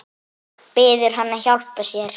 Biður hann að hjálpa sér.